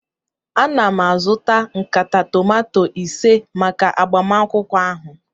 Ana m azụta nkata tomato ise maka agbamakwụkwọ ahụ